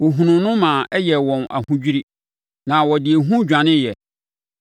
wɔhunuu no ma ɛyɛɛ wɔn ahodwirie, na wɔde ehu dwaneeɛ.